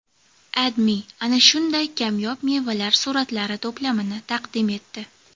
AdMe ana shunday kamyob mevalar suratlari to‘plamini taqdim etdi .